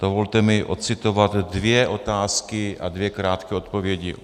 Dovolte mi odcitovat dvě otázky a dvě krátké odpovědi.